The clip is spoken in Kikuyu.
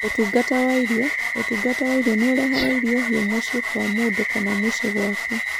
ũtungata wa irio:ũtungata wa irio nĩ ũrehaga irio hiũ mũciĩ kwa mũndũ kana mũciĩ gwaku.